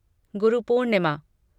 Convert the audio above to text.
Guru Purnima